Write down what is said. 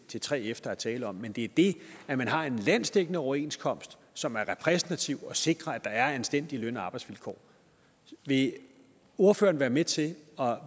til 3f der er tale om men det er det at man har en landsdækkende overenskomst som er repræsentativ og sikrer at der er anstændige løn og arbejdsvilkår vil ordføreren være med til at